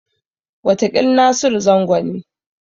Wataƙil Nasiru Zango ne.